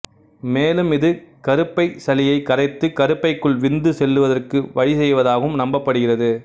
மேலும் இது கருப்பைச் சளியை கரைத்து கருப்பைக்குள் விந்து செல்லுவதற்கு வழி செய்வதாகவும் நம்பப்படுகிறது